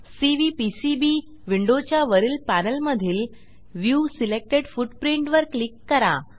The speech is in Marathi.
सीव्हीपीसीबी विंडोच्या वरील पॅनेलमधील व्ह्यू सिलेक्टेड फुटप्रिंट वर क्लिक करा